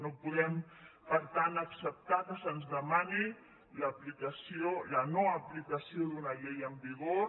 no podem per tant acceptar que se’ns demani la no aplicació d’una llei en vigor